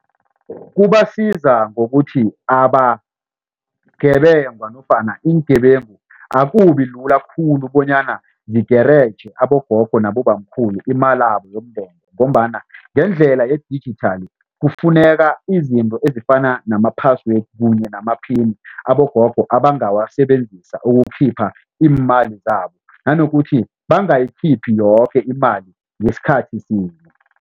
Kubasiza ngokuthi abangebengwa nofana iingebengu akubi lula khulu bonyana zigereje abogogo nabobamkhulu imalabo yomndende ngombana ngendlela yedijithali kufuneka izinto ezifana nama-password kunye namaphini abogogo ebangawasebenzisa ukukhipha iimali zabo nanokuthi bangayikhiphi yoke imali ngesikhathi sinye.